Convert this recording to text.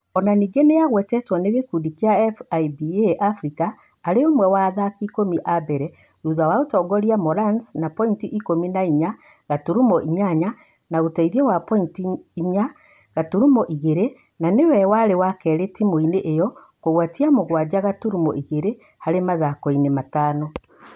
O na ningĩ nĩ agwetetwo nĩ gĩkundi kĩa FIBA Africa arĩ ũmwe wa athaki ĩkũmi a mbere thutha wa ũtongoria Morans na pointi ĩkũmi na inya gaturumo inyanya na ũteithio wa pointi inya gaturumo igĩrĩ na nĩ we warĩ wa kerĩ timu-inĩ ĩo kũgwatia mũgwanja gaturumo igĩrĩ harĩ mathako-inĩ matano.